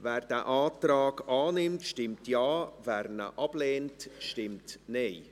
Wer diesen Antrag annimmt, stimmt Ja, wer diesen ablehnt, stimmt Nein.